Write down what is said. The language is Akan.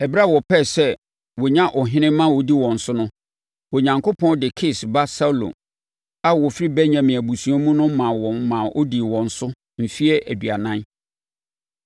Ɛberɛ a wɔpɛɛ sɛ wɔnya ɔhene ma ɔdi wɔn so no, Onyankopɔn de Kis ba Saulo a ɔfiri Benyamin abusua mu no maa wɔn maa ɔdii wɔn so mfeɛ aduanan.